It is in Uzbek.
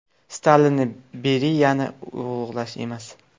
Stalinni, Beriyani ulug‘lash emas.